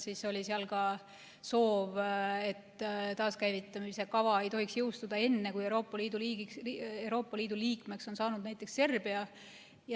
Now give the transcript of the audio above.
Siis oli seal ka soov, et taaskäivitamise kava ei tohiks jõustuda enne, kui Euroopa Liidu liikmeks on saanud näiteks Serbia.